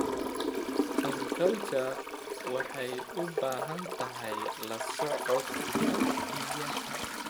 Aquaculture waxay u baahan tahay la socodka biyaha.